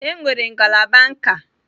Enwere ngalaba nka.